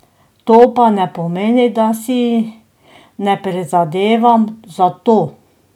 To pa ne pomeni, da si ne prizadevam za to.